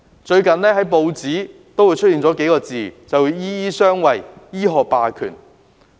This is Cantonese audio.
最近報章經常出現"醫醫相衞"、"醫學霸權"這些說法。